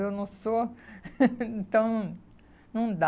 Eu não sou, então não dá.